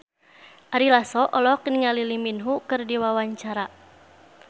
Ari Lasso olohok ningali Lee Min Ho keur diwawancara